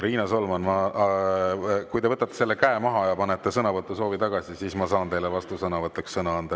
Riina Solman, kui te võtate maha ja panete sõnavõtusoovi tagasi, siis ma saan teile vastusõnavõtuks sõna anda.